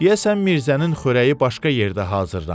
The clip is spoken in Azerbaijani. Deyəsən Mirzənin xörəyi başqa yerdə hazırlanır.